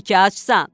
İndiki acsan.